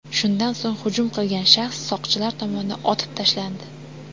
Shundan so‘ng hujum qilgan shaxs soqchilar tomonidan otib tashlandi.